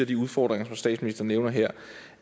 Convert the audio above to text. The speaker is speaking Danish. de udfordringer som statsministeren nævner her